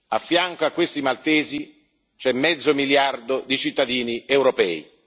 A fianco di questi maltesi c'è mezzo miliardo di cittadini europei.